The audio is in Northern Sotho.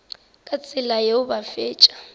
ka tsela yeo ba fetša